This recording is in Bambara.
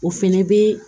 O fɛnɛ be